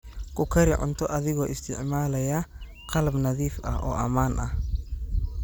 Ku kari cunto adigoo isticmaalaya qalab nadiif ah oo ammaan ah.